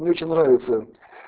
мне очень нравится